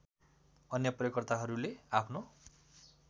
अन्य प्रयोगकर्ताहरूले आफ्नो